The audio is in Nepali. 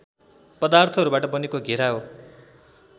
पदार्थहरूबाट बनेको घेरा हो